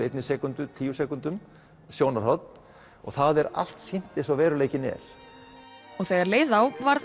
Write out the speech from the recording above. einni sekúndu tíu sekúndum sjónarhorn og það er allt sýnt eins og veruleikinn er og þegar leið á varð